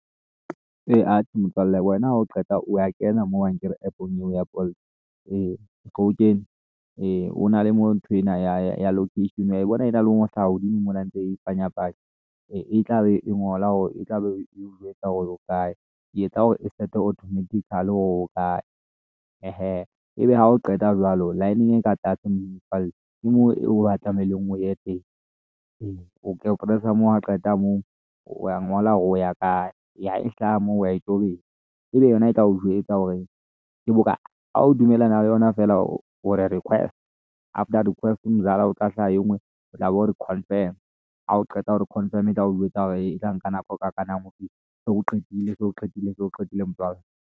Ee, atjhe motswalle wena ha o qeta o wa kena mo ankere app-ong eo ya Bolt ee. So o kene? ee, ho na le moo ntho ena ya location o wa e bona e na le ho hlala hodimo mona ntse e panyapanya ee. E tlabe e ngola hore, e tla be eo jwetsa hore o kae e etsa hore e start-e automatical hore o ho kae, ehe. Ebe ha o qeta jwalo line-eng e ka tlase moo motswalle ke moo eo batlang hore o ye teng ee, o press-a moo, ha o qeta moo o wa ngola hore o ya kae ya, e hlaha moo wa e tobetsa ebe yona e tla o jwetsa hore ke bokae. Ha o dumellana le yona feela o re request after request mzala, ho tla hlaya e ngwe, o tla be o re confirm ha o qeta hore confirm e tla o jwetsa hore e tla nka nako e ka kanang ho fihla o qetile se o qetile motswalle.